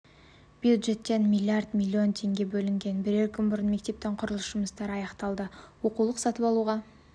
бюджеттен млрд млн теңге бөлінген бірер күн бұрын мектептің құрылыс жұмыстары аяқталды оқулық сатып алуға